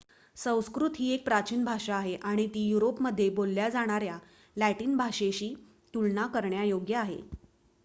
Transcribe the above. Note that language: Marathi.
संस्कृत ही एक प्राचीन भाषा आहे आणि ती युरोपमध्ये बोलल्या जाणार्‍या लॅटिन भाषेशी तुलना करण्यायोग्य आहे